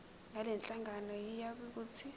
ngalenhlangano yiya kut